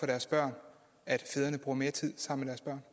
deres børn at fædrene bruger mere tid sammen med